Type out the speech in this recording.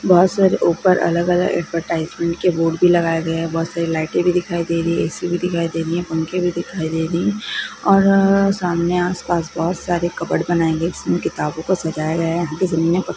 बहुत सारे ऊपर अलग-अलग ऐड्वर्टाइज़्मेन्ट के बोर्ड भी लगाए गए है बहुत सारे लाइटे भी दिखाई दे रही है ऐ_सी भी दिखाई दे रही है पंखे भी दिखाई दे रही है और सामने आसपास बहुत सारे कबर्ड बनाए गए जिसमे किताबों को सजाया गया है यहां की---